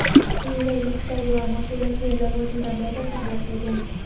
unga yuksak va mas’uliyatli lavozimda muvaffaqiyatlar tilagan.